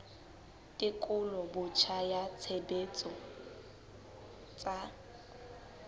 tekolo botjha ya tshebetso tsa